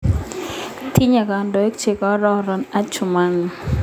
Tinyei kandoik che kororon Adjumani